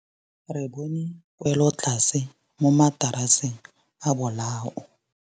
Re bone wêlôtlasê mo mataraseng a bolaô.